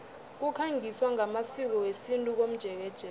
kukhangiswa ngamasiko wesintu komjekejeke